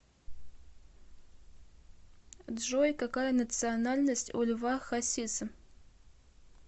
джой какая национальность у льва хасиса